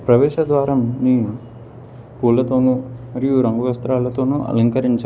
ప్రవేశ ద్వారం ని పూలతోనూ మరియు రంగు వస్త్రాలతోనూ అలంకరించా --